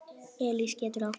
Elís getur átt við